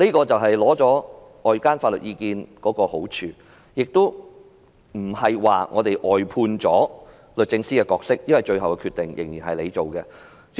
這便是尋求外間法律意見的好處，亦不是外判了律政司的角色便算了，因為最後決定仍然由律政司作出。